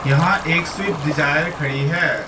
यहां एक Swift Dzire खड़ी है।